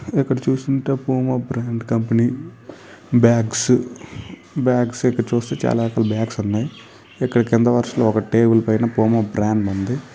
ఇక్కడ చూస్తుంటే Puma brand company bags bags ఇక్కడ చుస్తే చాల బాగ్స్ ఉన్నాయ్ ఇక్కడ కింద వర్సాలో ఒక టేబుల్ పైన పుమా బ్రాండ్ ఉంది.